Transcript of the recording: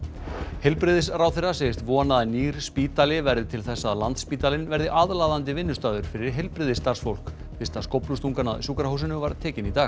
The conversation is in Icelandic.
heilbrigðisráðherra segist vona að nýr spítali verði til þess að Landspítalinn verði aðlaðandi vinnustaður fyrir heilbrigðisstarfsfólk fyrsta skóflustungan að sjúkrahúsinu var tekin í dag